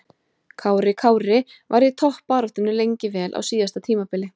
Kári Kári var í toppbaráttunni lengi vel á síðasta tímabili.